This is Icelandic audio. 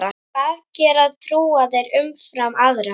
Hvað gera trúaðir umfram aðra?